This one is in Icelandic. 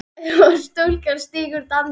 og stúlkan stígur dansinn